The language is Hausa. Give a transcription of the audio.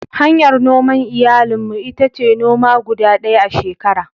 Hanyar noman iyali mu ita ce noma guda ɗaya a shekara.